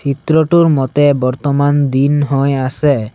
চিত্ৰটোৰ মতে বৰ্তমান দিন হৈ আছে।